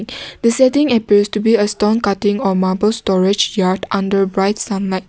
the setting appears to be a stone cutting or marble storage yard under bright sunlight.